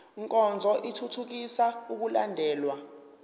nkonzo ithuthukisa ukulandelwa